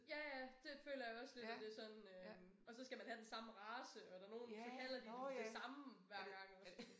Ja ja det føler jeg også lidt at det sådan øh. Og så skal man have den samme race og der nogen så kalder de den det samme hver gang også